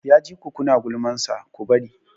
Ya ji ku na gulmansa, ku bari!